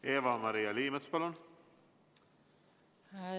Eva-Maria Liimets, palun!